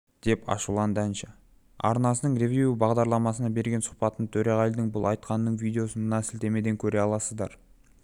деп ашуланды әнші арнасының ревю бағдарламасына берген сұхбатында төреғалидың бұл айтқанының видеосын мына сілтемеден көре аласыздар